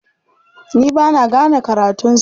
Ni ba na gane karatunsa.